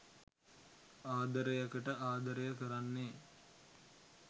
ආදරයකට අදරය කරන්නෙ